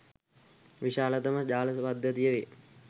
විශාලතම ජාල පද්ධතිය වේ